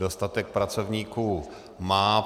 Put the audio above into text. Dostatek pracovníků má.